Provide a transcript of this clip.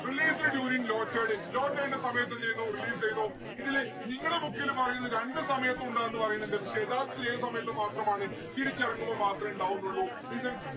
released during low tide. low tide ന്റെ സമയത്ത് എന്തെയ്യുന്നു release എയ്യുന്നു ഇതില് നിങ്ങടെ book ല് പറയുന്ന് രണ്ട് സമയത്ത് ഉണ്ടാകും ന്ന്‌ പറയുന്നുണ്ട് പക്ഷെ യഥാർത്ഥത്തിൽ ഏത് സമയത്ത് മാത്രമാണ് തിരിക്കിറങ്ങുമ്പോ മാത്രേ ഇണ്ടാവുന്നുള്ളു listen